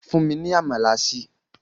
Fùn mi ni àmalà sìí!